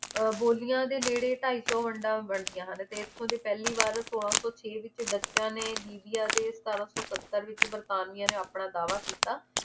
ਬੋਲੀਆਂ ਦੇ ਨੇੜੇ ਢਾਈ ਸੌ ਵੰਡਾਂ ਵੰਡੀਆਂ ਹਨ ਤੇ ਇਥੋਂ ਦੇ ਪਹਿਲੀ ਵਾਰ ਸੋਲਾਂ ਸੌ ਛੇ ਵਿਚ ਨੇ ਦੇ ਸਤਾਰਾਂ ਸੌ ਸੱਤਰ ਵਿਚ ਵਰਤਾਨੀਆ ਨੇ ਆਪਣਾ ਦਾਵਾ ਕੀਤਾ